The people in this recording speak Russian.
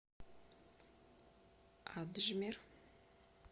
аджмер